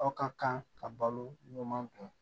Aw ka kan ka balo ɲuman bɔ